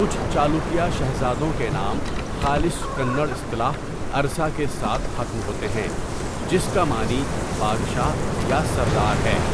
کچھ چالوکیہ شہزادوں کے نام خالص کنڑ اصطلاح 'ارسا' کے ساتھ ختم ہوتے ہیں، جس کا معنی 'بادشاہ' یا 'سردار' ہے۔